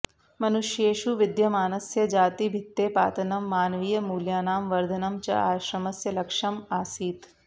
मनुष्येषु विद्यमानस्य जातिभित्तेः पातनं मानवीयमूल्यानां वर्धनं च आश्रमस्य लक्ष्यम् आसीत्